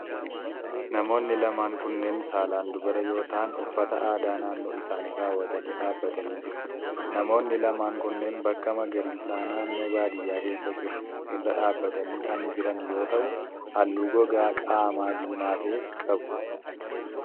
Namoonni lamaan kunneen saalan dubara yoo ta'an, uffata aadaa naannoo isaanii kaawwatanii dhaabbatanii jiru. Namoonni lamaan kunneen bakka magariisaa naannoo baadiyaa keessa jiru irra dhaabatanii kan jiran yoo ta'u, halluu gogaa qaamaa diimaa ta'e qabu.